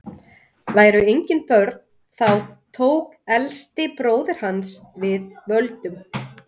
væru engin börn þá tók elsti bróðir hans við völdum